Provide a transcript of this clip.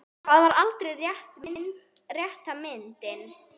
Það var aldrei rétta myndin.